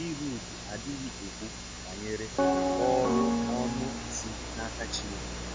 Ịhud adịghị ekwú banyere òrụ ọnụ si n’aka Chineke.